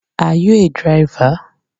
Are you a driver?